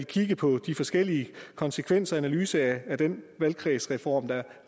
kigge på de forskellige konsekvensanalyser af den valgkredsreform der